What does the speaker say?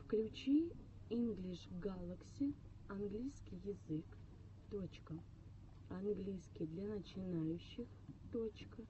включи инглиш галакси английский язык точка английский для начинающих точка